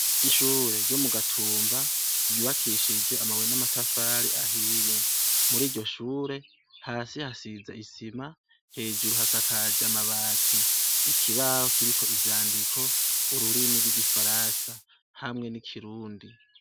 Ishure ryo mu Gatumba, ryubakishijwe amabuye n'amatafari ahiye, muriryo shure hasi hasize isima, hejuru hasakaje amabati, ikibaho kiriko ivyandiko ururimi rw'igifaransa hamwe n'ikirundi.